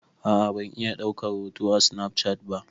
A'a ban iya daukar hoto a snafcat ba.